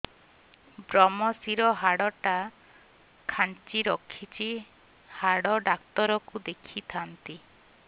ଵ୍ରମଶିର ହାଡ଼ ଟା ଖାନ୍ଚି ରଖିଛି ହାଡ଼ ଡାକ୍ତର କୁ ଦେଖିଥାନ୍ତି